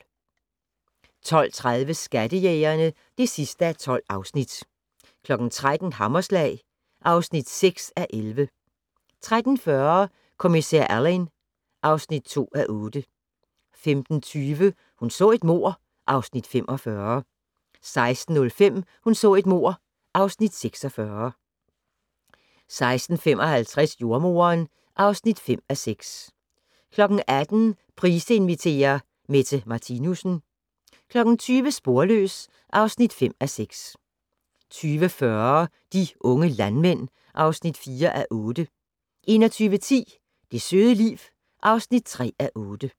12:30: Skattejægerne (12:12) 13:00: Hammerslag (6:11) 13:40: Kommissær Alleyn (2:8) 15:20: Hun så et mord (Afs. 45) 16:05: Hun så et mord (Afs. 46) 16:55: Jordemoderen (5:6) 18:00: Price inviterer - Mette Martinussen 20:00: Sporløs (5:6) 20:40: De unge landmænd (4:8) 21:10: Det søde liv (3:8)